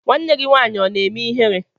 Nwanne gị nwaanyị ọ na-eme ihere?